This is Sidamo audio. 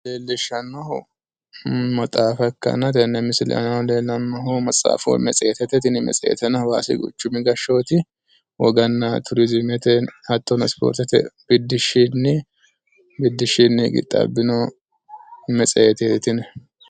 Leellishshannohu maxaafa ikkanna tenne misile aana leellannohu matsaafa woyi metsiheetete. Tini metseeteno hawaasi quchumi gashshooti woganna turiziimete hattono ispoortete biddishshinni qixxaabbino metseeteeti tini.